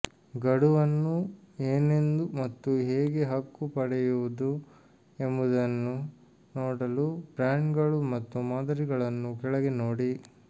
ಗಡುವನ್ನು ಏನೆಂದು ಮತ್ತು ಹೇಗೆ ಹಕ್ಕು ಪಡೆಯುವುದು ಎಂಬುದನ್ನು ನೋಡಲು ಬ್ರ್ಯಾಂಡ್ಗಳು ಮತ್ತು ಮಾದರಿಗಳನ್ನು ಕೆಳಗೆ ನೋಡಿ